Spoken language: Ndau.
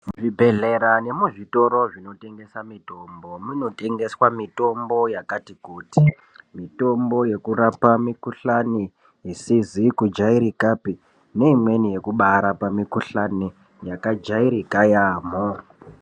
Zvibhehlera nemuzvitoro zvinotengesa mitombo, munotengeswa mitombo yakati kuti. Mitombo yekurapa mikuhlani isizi kujairikapi neimweni yekubarapa mikuhlani yakajairika yamho.